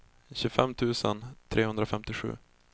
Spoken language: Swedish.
tjugofem tusen trehundrafemtiosju